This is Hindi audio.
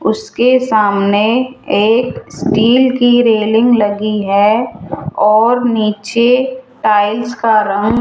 उसके सामने एक स्टील की रेलिंग लगी है और नीचे टाइल्स का रंग --